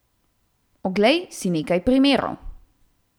Oglej si nekaj primerov.